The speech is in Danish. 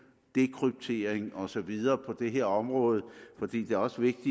dekryptering og så videre på det her område for det er også vigtigt